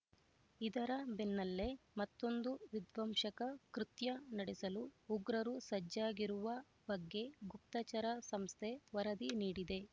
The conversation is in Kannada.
ಇದರ ಬೆನ್ನಲ್ಲೆ ಮತ್ತೊಂದು ವಿಧ್ವಂಸಕ ಕೃತ್ಯ ನಡೆಸಲು ಉಗ್ರರು ಸಜ್ಜಾಗಿರುವ ಬಗ್ಗೆ ಗುಪ್ತಚರ ಸಂಸ್ಥೆ ವರದಿ ನೀಡಿದೆ